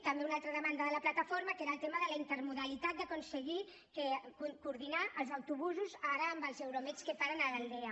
també una altra demanda de la plataforma que era el tema de la intermodalitat d’aconseguir coordinar els autobusos ara amb els euromed que paren a l’aldea